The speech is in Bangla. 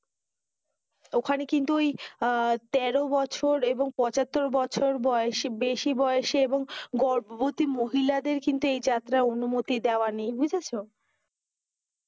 ওখানে কিন্তু ঐ তেরো বছর এবং পঁচাত্তর বছর বয়সী বেশি বয়সী এবং গর্ভবতী মহিলাদের কিন্তু এই যাত্রার অনুমতি দেওয়া নেই, বুঝেছ?